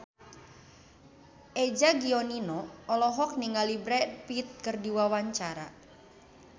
Eza Gionino olohok ningali Brad Pitt keur diwawancara